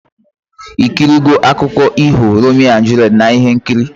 Ikiri go akụko iho Romeo and Juliet na ihe nkiri